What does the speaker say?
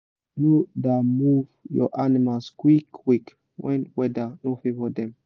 no da move your animals quick quick when weather no favour dem